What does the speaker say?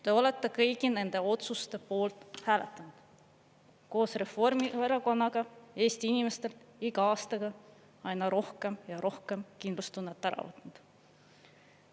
Te olete kõigi nende otsuste poolt hääletanud koos Reformierakonnaga, Eesti inimestelt iga aastaga aina rohkem ja rohkem kindlustunnet ära võtnud.